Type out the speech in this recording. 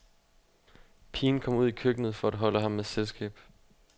Pigen kom ud i køkkenet for at holde ham med selskab.